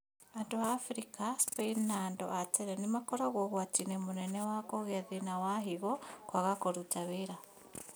Andũ a Afrika, Spain, na andũ a tene nĩmakoragwo ũgwati-inĩ mũnene wa kũgĩa thĩna wa higo kwaga kũruta wĩra